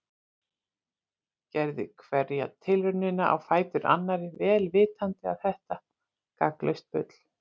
Gerði hverja tilraunina á fætur annarri vel vitandi að þetta var gagnslaust bull.